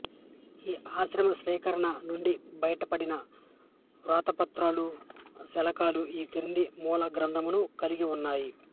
ఈ ఆశ్రమ సేకరణ నుండి బయటపడిన వ్రాతప్రతులు శకలాలు ఈ క్రింది మూల గ్రంథాలను కలిగి ఉన్నాయి